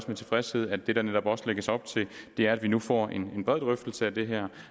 med tilfredshed at det der netop også lægges op til er at vi nu får en bred drøftelse af det her